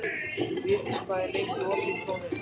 Védís, hvað er lengi opið í Krónunni?